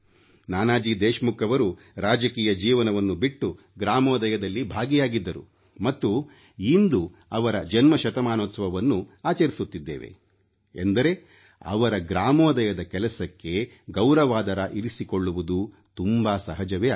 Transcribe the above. ನಾನಾಜಿ ದೇಶಮುಖ್ ಅವರು ರಾಜಕೀಯ ಜೀವನವನ್ನು ಬಿಟ್ಟು ಗ್ರಾಮೋದಯದಲ್ಲಿ ಭಾಗಿಯಾಗಿದ್ದರು ಮತ್ತು ಇಂದು ಅವರ ಜನ್ಮ ಶತಮಾನೋತ್ಸವವನ್ನು ಆಚರಿಸುತ್ತಿದ್ದೇವೆ ಎಂದರೆ ಅವರ ಗ್ರಾಮೋದಯದ ಕೆಲಸಕ್ಕೆ ಗೌರವಾದರ ಇರಿಸಿಕೊಳ್ಳುವುದು ತುಂಬಾ ಸಹಜವೇ ಆಗಿದೆ